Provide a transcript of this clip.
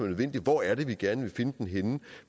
nødvendig hvor er det vi gerne vil finde den henne